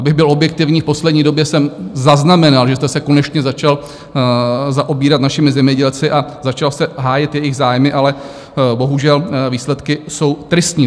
Abych byl objektivní, v poslední době jsem zaznamenal, že jste se konečně začal zaobírat našimi zemědělci a začal jste hájit jejich zájmy, ale bohužel výsledky jsou tristní.